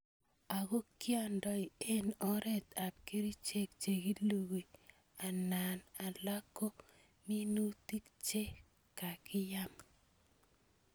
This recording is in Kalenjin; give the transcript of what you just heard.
Ako kiandoi eng oret ab kerchek che kilugui ana alak ko minutik che kakiyam.